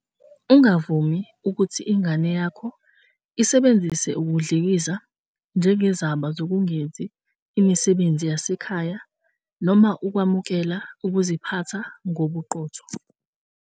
Ungavumi ukuthi ingane yakho isebenzise ukudlikiza njengezaba zokungenzi imisebenzi yasekhaya noma ukwamukela ukuziphatha ngobuqotho.